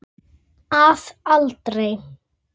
Að aldrei.